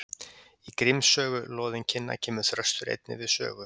Í Gríms sögu loðinkinna kemur Þröstur einnig við sögu.